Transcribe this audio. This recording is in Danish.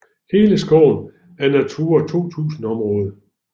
Hele skoven er Natura 2000 område